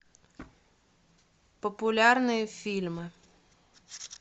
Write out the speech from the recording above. популярные фильмы